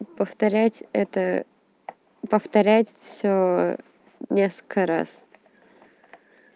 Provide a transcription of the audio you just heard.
повторять это повторять всё несколько раз